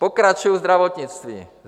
Pokračuji zdravotnictvím.